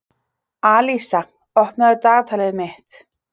Alísa, opnaðu dagatalið mitt.